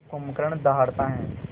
जब कुंभकर्ण दहाड़ता है